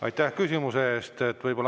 Aitäh küsimuse eest!